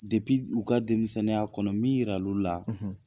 Depi u ka denmisɛnniya kɔnɔ min yira l'olu la.